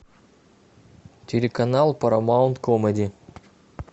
телеканал парамаунт комеди